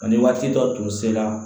Ani waati dɔ tun sera